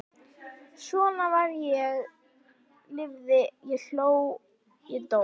Svo var ég lifði ég hló ég dó